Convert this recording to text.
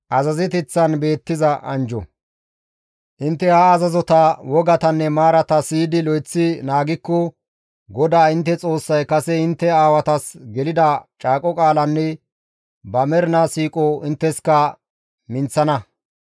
Intte ha azazota, wogatanne maarata siyidi lo7eththi naagikko GODAA intte Xoossay kase intte aawatas gelida caaqo qaalanne ba mernaa siiqo intteska minththana.